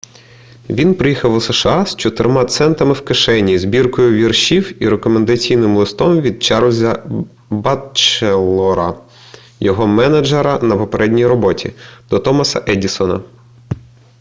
він приїхав у сша з 4 центами в кишені збіркою віршів і рекомендаційним листом від чарльза батчелора його менеджера на попередній роботі до томаса едісона